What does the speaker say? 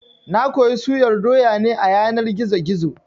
Na koyi suyar doya ne a yanar gizo-gizo